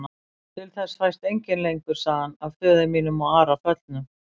Til þess fæst enginn lengur, sagði hann,-að föður mínum og Ara föllnum.